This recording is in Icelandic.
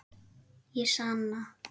Ég sanna.